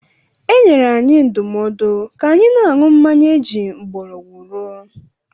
E nyere anyị ndụmọdụ ka anyị na-aṅụ mmanya eji mgbọrọgwụ rụọ.